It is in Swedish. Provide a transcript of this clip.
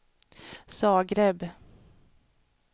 Zagreb